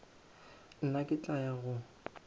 nna ke tla ya go